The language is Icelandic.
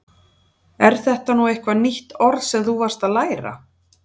Er þetta nú eitthvað nýtt orð sem þú varst að læra?